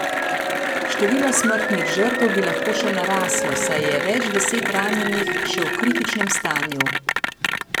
Število smrtnih žrtev bi lahko še naraslo, saj je več deset ranjenih še v kritičnem stanju.